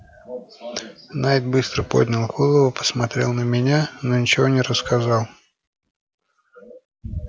найд быстро поднял голову посмотрел на меня но ничего не рассказал